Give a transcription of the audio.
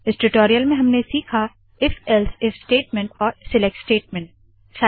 इस टूटोरियल में हमने सिखा if else if if else if statement और सिलेक्ट सिलेक्टस्टेटमेंट